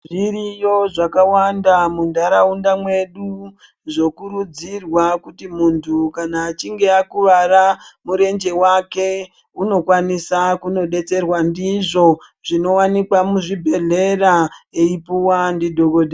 Zviriyo zvakawanda muntaraunda mwedu, zvokurudzirwa kuti muntu kana achinge akuwara murenje wake, unokwanisa kunodetserwa ndizvo. Zvinowanikwa muzvibhedhlera, eipuwa ndidhokodheya.